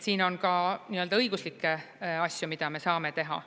Siin on ka õiguslikke asju, mida me saame teha.